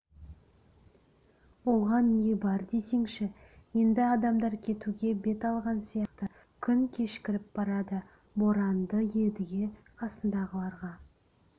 оған не бар десеңші енді адамдар кетуге бет алған сияқты күн кешкіріп барады боранды едіге қасындағыларға